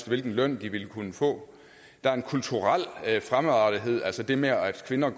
hvilken løn de vil kunne få der er en kulturel fremmedartethed altså det med at kvinder